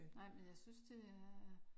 Nej men jeg synes det er